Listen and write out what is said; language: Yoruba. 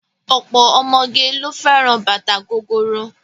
Ọ̀pọ̀ ọmọge ló fẹ́ràn bàtà gogoro.